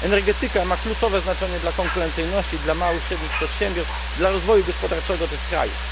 Energetyka ma kluczowe znaczenie dla konkurencyjności, dla małych i średnich przedsiębiorstw, dla rozwoju gospodarczego tych krajów.